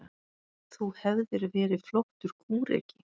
Þú hefðir verið flottur kúreki.